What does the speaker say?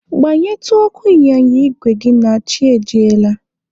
Gbanyetụ ọkụ ịnyịnya igwe gị a na chi ejiela.